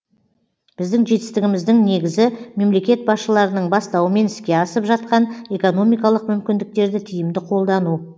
біздің жетістігіміздің негізі мемлекет басшыларының бастауымен іске асып жатқан экономикалық мүмкіндіктерді тиімді қолдану